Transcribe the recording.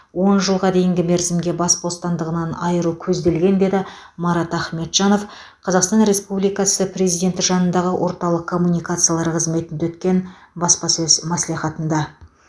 он жылға дейінгі мерзімге бас бостандығынан айыру көзделген деді марат ахметжанов қазақстан республикасы президенті жанындағы орталық коммуникациялар қызметінде өткен баспасөз мәслихатында